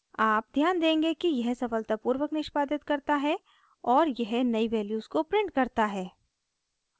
आप ध्यान देंगे कि यह सफलतापूर्वक निष्पादित करता है और यह नयी वैल्यूज़ को प्रिंट करता है